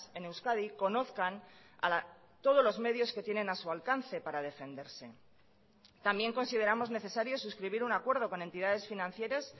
en euskadi conozcan todos los medios que tienen a su alcance para defenderse también consideramos necesario suscribir un acuerdo con entidades financieras